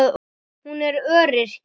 Hún er öryrki.